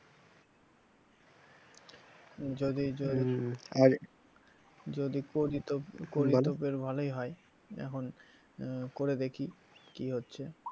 যদি যদি করি তো করিতো ফের ভালোই হয় এখন আহ করে দেখি কি হচ্ছে।